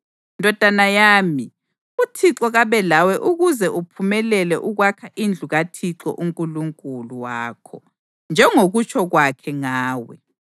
Ndodana yami, uThixo kabe lawe ukuze uphumelele ukwakha indlu kaThixo uNkulunkulu wakho, njengokutsho kwakhe ngawe.